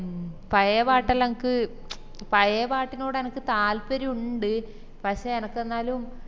മ് പയേ പട്ടേലോ എൻക്ക് പയേ പാട്ടിനോട് എനക് താല്പര്യയുണ്ട് പഷേ എനക് എന്നാലും